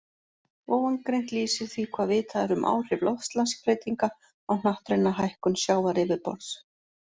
Ofangreint lýsir því hvað vitað er um áhrif loftslagsbreytinga á hnattræna hækkun sjávaryfirborðs.